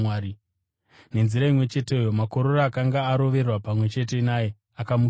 Nenzira imwe cheteyo makororo akanga arovererwa pamwe chete naye akamutukawo.